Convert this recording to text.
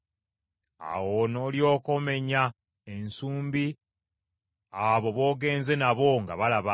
“Awo n’olyoka omenya ensumbi abo b’ogenze n’abo nga balaba,